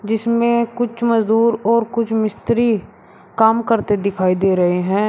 जिसमें कुछ मजदूर और कुछ मिस्त्री काम करते दिखाई दे रहे हैं।